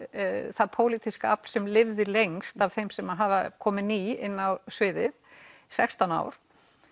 það pólitíska afl sem lifði lengst af þeim sem hafa komið ný inn á sviðið sextán ár